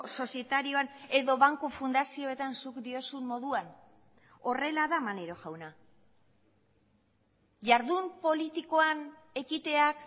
sozietarioan edo banku fundazioetan zuk diozun moduan horrela da maneiro jauna jardun politikoan ekiteak